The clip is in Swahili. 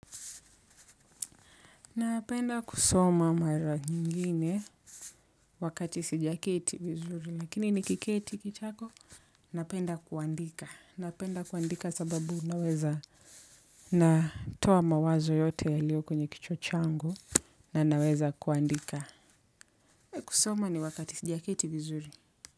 Napenda kusoma mara nyingine wakati sijaketi vizuri lakini nikiketi kitako napenda kuandika napenda kuandika sababu naweza natowa mawazo yote yalio kwenye kichwa changu na naweza kuandika kusoma ni wakati sijaketi vizuri.